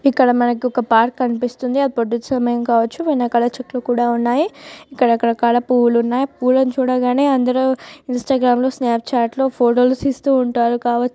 ఇక్కడ మనకు ఒక పార్క్ కనిపిస్తుంది అది పొద్దుటి సమయం కవచ్చు వెనకాల చెట్లు కూడా ఉన్నాయి రకరకాల పూలు ఉన్నాయి పూలని చూడగానే అందులో ఇంస్టాగ్రామ్ లో స్నాప్ చాట్ లో ఫోటో లు తీస్తూ ఉంటారు కావచ్చు.